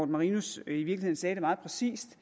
marinus i virkeligheden sagde det meget præcist